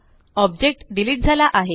object delete झाला आहे